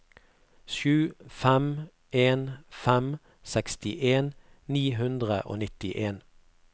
sju fem en fem sekstien ni hundre og nittien